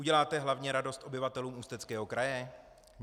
Uděláte hlavně radost obyvatelům Ústeckého kraje?